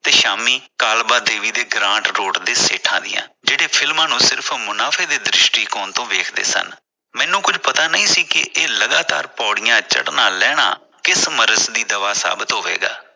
ਤੇ ਸ਼ਾਮੀ ਕਾਲਬਾ ਦੇਵੀ ਦੇ ਗਰਾਂਟ road ਦੇ ਸੇਠਾਂ ਦੀਆਂ ਜਿਹੜੇ ਫਿਲਮਾਂ ਨੂੰ ਸਿਰਫ ਮੁਨਾਫੇ ਦੇ ਦ੍ਰਿਸ਼ਟੀਕੋਣ ਤੋਂ ਦੇਖਦੇ ਸਨ । ਮੈਨੂੰ ਕੁਝ ਪਤਾ ਨਹੀਂ ਸੀ ਕਿ ਇਹ ਲਗਾਤਾਰ ਪੌੜੀਆਂ ਚੜਨਾ ਲਹਿਣਾ ਕਿਸ ਮਰਜ ਦੀ ਦਵਾ ਸਾਬਿਤ ਹੋਵੇਗਾ